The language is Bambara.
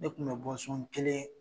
Ne kun bɛ bɔn so n kelen.